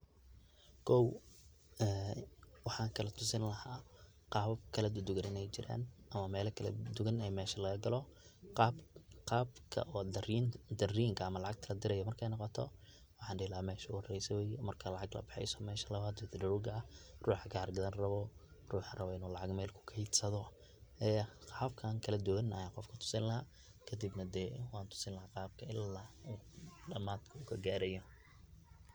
kow waxan kala tusin lahaa qabab kala duduban in ay jiraan ama mela kala duduban in mesha laga galo, qabka darinka ama lacagta ladiraayo markay noqoto waxan dhihi lahaa mesha ogu horeyso weye, marka lacag labaxeyso mesha labad oo wiitdrawga ah, ruuxa kar gadan rabo, ruuxa rabo inu lacag mel kuked sado ee hababkan kala duban ayan qofka utusin lahaa kadibna dee wan tusin lahaa qabka ila uu dhamadka ka gaarayo